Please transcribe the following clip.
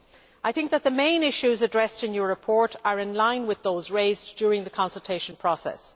I think that the main issues addressed in your report are in line with those raised during the consultation process.